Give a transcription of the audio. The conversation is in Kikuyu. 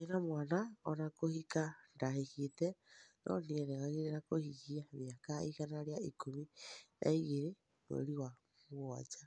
Ndarĩ na mwana ona kũhĩka ndahĩkĩte, no nĩerĩgĩrĩrwo kuhĩngĩa mĩaka ĩgana rĩa ĩkũmĩ na ĩgĩrĩ mwerĩ wa mũgwanja